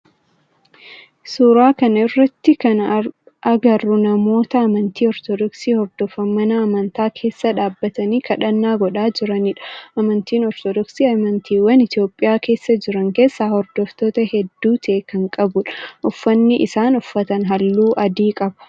Suuraa kana irratti kana agarru namoota amantii ortodoksii hordofan mana amantaa keessa dhaabbatanii kadhannaa godhaa jiranidha. Amantiin ortodoksii amantiiwwan Itiyoophiyaa keessa jiran keessaa hordoftoota heddu ta'e kan qabudha. Uffanni isaan uffatan halluu adii qaba.